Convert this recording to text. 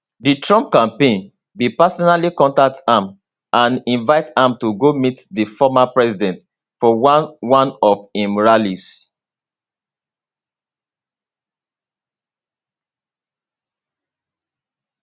di trump campaign bin personally contact am and invite am to go meet di former president for one one of im rallies